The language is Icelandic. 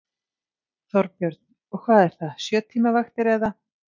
Þorbjörn: Og hvað er það, sjö tíma vaktir, eða?